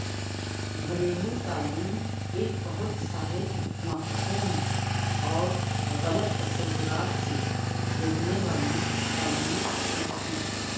گھریلو تعلیم ایک بہت سارے مفہوم اور غلط تصورات سے گھیرنے والی تعلیمی پسند ہے